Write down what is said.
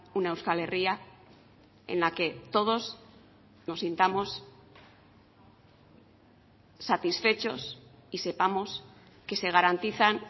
una euskal herria en la que todos nos sintamos satisfechos y sepamos que se garantizan